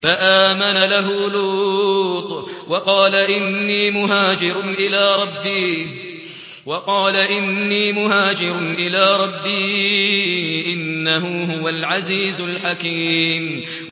۞ فَآمَنَ لَهُ لُوطٌ ۘ وَقَالَ إِنِّي مُهَاجِرٌ إِلَىٰ رَبِّي ۖ إِنَّهُ هُوَ الْعَزِيزُ الْحَكِيمُ